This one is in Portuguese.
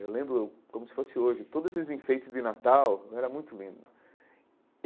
Eu lembro, como se fosse hoje, todos esses enfeites de Natal, era muito lindo.